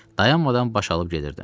Dayanmadan baş alıb gedirdim.